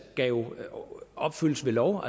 opfyldes ved lov